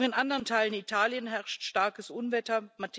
Auch in anderen Teilen Italiens herrscht starkes Unwetter.